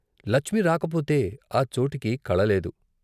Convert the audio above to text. లచ్మి రాకపోతే ఆ చోటుకి కళ లేదు.